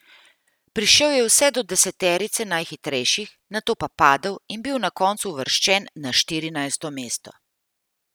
Prišel je vse do deseterice najhitrejših, nato pa padel in bil na koncu uvrščen na štirinajsto mesto.